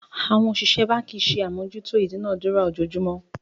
Àwọn òṣìṣẹ́ báǹkì ṣe àmójútó ìdúnadúrà ojoojúmọ́